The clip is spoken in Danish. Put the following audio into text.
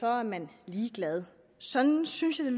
er man ligeglad sådan synes jeg